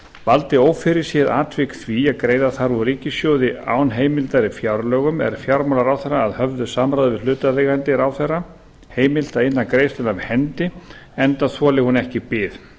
valdi ófyrirséð atvik því að greiða þarf úr ríkissjóði án heimildar í fjárlögum er fjármálaráðherra að höfðu samráði við hlutaðeigandi ráðherra heimilt að inna greiðsluna af hendi enda þoli hún ekki bið